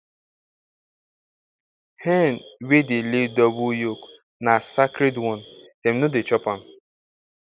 hen wey dey lay double yolk na sacred one dem no dey chop am